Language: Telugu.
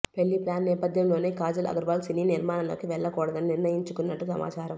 పెళ్లి ప్లాన్ నేపథ్యంలోనే కాజల్ అగర్వాల్ సినీ నిర్మాణంలోకి వెళ్లకూడదని నిర్ణయించుకొన్నట్టు సమాచారం